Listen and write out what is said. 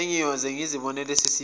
sengiyoze ngizibonele sesifika